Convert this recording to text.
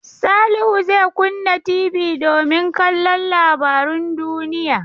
Salihu zai kunna TV domin kallon labarun duniya.